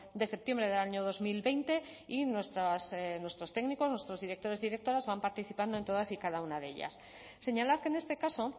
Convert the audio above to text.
de septiembre del año dos mil veinte y nuestros técnicos nuestros directores y directoras van participando en todas y cada una de ellas señalar que en este caso